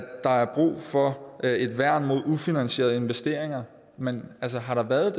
der er brug for et værn mod ufinansierede investeringer men altså har der været